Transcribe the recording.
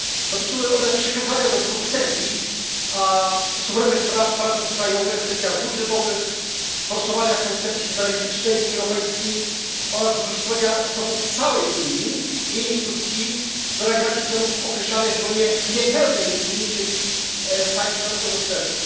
Dotyczyły one przekazania do Brukseli suwerennych praw parlamentów krajowych w kwestiach budżetowych, forsowania koncepcji federalistycznej Unii Europejskiej oraz wykorzystywania zasobów całej Unii i jej instytucji do realizacji celów określanych w gronie niepełnej Unii, czyli w państwach eurostrefy.